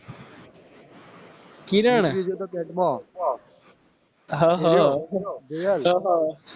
કિરણ